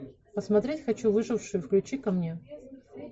посмотреть хочу выживший включи ка мне